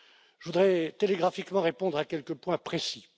Je voudrais télégraphiquement répondre à quelques points précis.